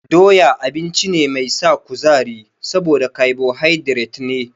Doya abinci ne mai sa kuzari saboda kabohaidret ne.